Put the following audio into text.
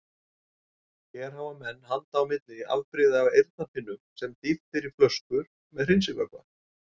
Hér hafa menn handa milli afbrigði af eyrnapinnum sem dýft er í flöskur með hreinsivökva.